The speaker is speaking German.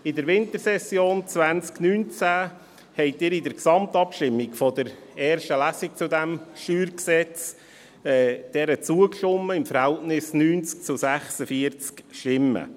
In der Wintersession 2019 stimmten Sie in der Gesamtabstimmung zur ersten Lesung diesem StG zu, mit dem Verhältnis von 90 zu 46 Stimmen.